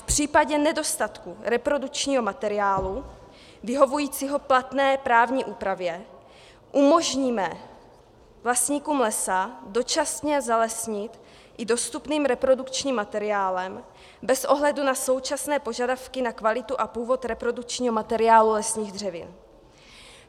V případě nedostatku reprodukčního materiálu vyhovujícího platné právní úpravě umožníme vlastníkům lesa dočasně zalesnit i dostupným reprodukčním materiálem bez ohledu na současné požadavky na kvalitu a původ reprodukčního materiálu lesních dřevin.